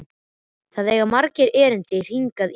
Það eiga margir erindi hingað í dag.